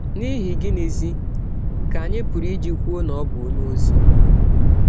N’ihi gịnịzi ka anyị pụrụ iji kwụọ na ọ bụ ọnye ọzi?